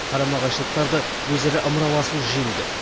қарама қайшылықтарды өзара ымыраласу жеңді